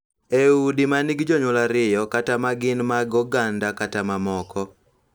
E udi ma nigi jonyuol ariyo, kata ma gin mag oganda kata mamoko,